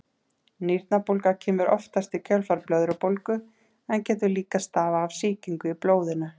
Nýrnabólga kemur oftast í kjölfar blöðrubólgu en getur líka stafað af sýkingu í blóðinu.